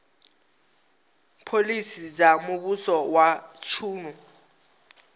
phoḽisi dza muvhuso wa tshino